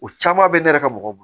O caman bɛ ne yɛrɛ ka mɔgɔw bolo